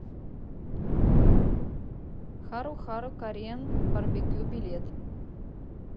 хару хару кореан барбекю билет